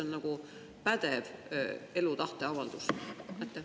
Mis on pädev elulõpu tahteavaldus?